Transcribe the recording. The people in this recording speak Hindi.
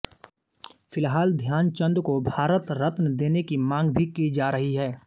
फिलहाल ध्यानचंद को भारत रत्न देने की मांग भी की जा रही है